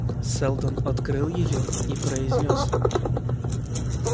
сэлдон открыл её и произнёс